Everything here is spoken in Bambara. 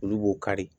Olu b'o kari